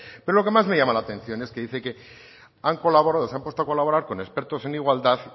pero lo que más me llama la atención es que dice que han colaborado se han puesto a colaborar con expertos en igualdad